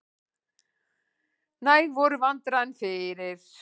Næg voru vandræðin fyrir.